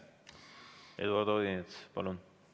Eduard Odinets, palun!